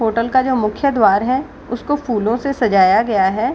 Hotel का जो मुख्य द्वार है उसको फूलों से सजाया गया है।